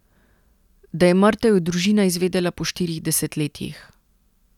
Da je mrtev, je družina izvedela po štirih desetletjih.